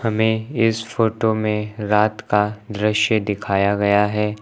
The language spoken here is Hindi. हमें इस फोटो में रात का दृश्य दिखाया गया है।